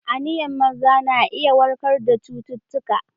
Iniyan maza na iya warkar da cututtuka.